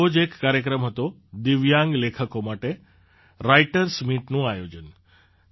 આવો જ એક કાર્યક્રમ હતો દિવ્યાંગ લેખકો માટે રાઇટર્સ મીટનું આયોજન